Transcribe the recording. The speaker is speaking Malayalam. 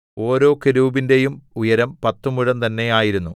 1 ഓരോ കെരൂബിന്റെയും ഉയരം പത്തുമുഴം തന്നെ ആയിരുന്നു